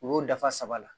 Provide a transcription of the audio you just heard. U y'o dafa saba la